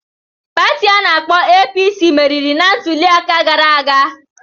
Pati ana-akpo APC meriri na ntuliaka gara aga.